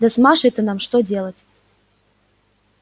да с машей-то что нам делать